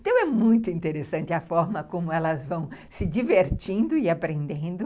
Então, é muito interessante a forma como elas vão se divertindo e aprendendo.